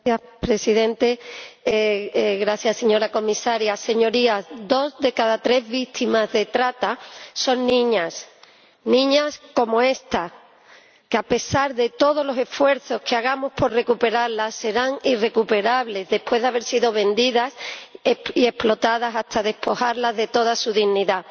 Señor Presidente, señora Comisaria, Señorías, dos de cada tres víctimas de trata son niñas, niñas como esta que, a pesar de todos los esfuerzos que hagamos por recuperarlas serán irrecuperables después de haber sido vendidas y explotadas hasta despojarlas de toda su dignidad.